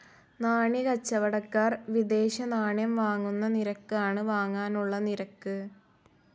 നാണ്യക്കച്ചവടക്കാർ വിദേശനാണ്യം വാങ്ങുന്ന നിരക്കാണ് വാങ്ങാനുള്ള നിരക്ക്.